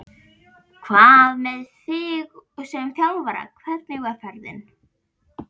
Hvað með þig sem þjálfara, hvernig var ferðin?